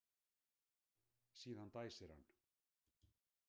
Síðan dæsir hann.